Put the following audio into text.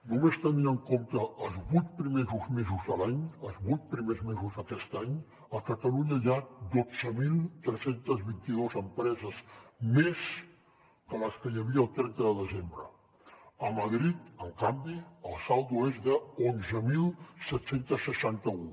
només tenint en compte els vuit primers mesos de l’any els vuit primers mesos d’aquest any a catalunya hi ha dotze mil tres cents i vint dos empreses més que les que hi havia el trenta de desembre a madrid en canvi el saldo és d’onze mil set cents i seixanta un